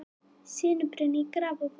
Sinubruni í Grafarvogi